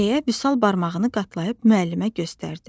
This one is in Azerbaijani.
deyə Vüsal barmağını qatlayıb müəllimə göstərdi.